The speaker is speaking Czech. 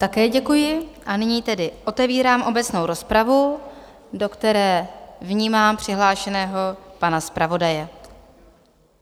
Také děkuji a nyní tedy otevírám obecnou rozpravu, do které vnímám přihlášeného pana zpravodaje.